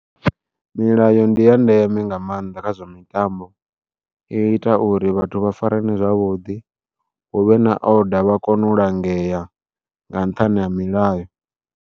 Milayo ndi ya ndeme nga maanḓa kha zwa mitambo, i ita uri vhathu vha farane zwavhuḓi huvhe na oda vha kone u langea nga nṱhani ha milayo.